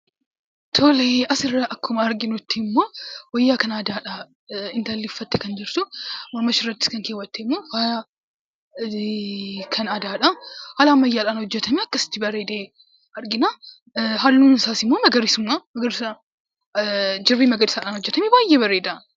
Tole, as irraa akkuma arginutti immoo wayyaa kan aadaa dha intalli uffattee kan jirtu. Mormashee irrattis kan keewwatte immoo faaya kan aadaa dha. Haala ammayyaadhaan hojjetamee akkasitti bareedee argina. Halluun isaas immoo magariisuma. Gosa jirbii magariisa dhaan hojjetamee baay'ee bareeda.